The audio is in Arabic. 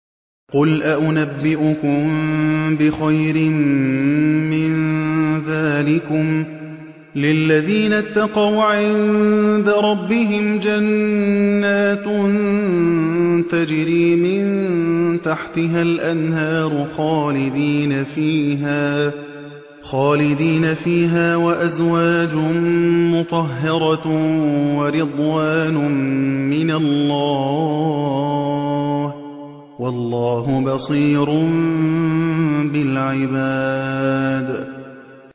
۞ قُلْ أَؤُنَبِّئُكُم بِخَيْرٍ مِّن ذَٰلِكُمْ ۚ لِلَّذِينَ اتَّقَوْا عِندَ رَبِّهِمْ جَنَّاتٌ تَجْرِي مِن تَحْتِهَا الْأَنْهَارُ خَالِدِينَ فِيهَا وَأَزْوَاجٌ مُّطَهَّرَةٌ وَرِضْوَانٌ مِّنَ اللَّهِ ۗ وَاللَّهُ بَصِيرٌ بِالْعِبَادِ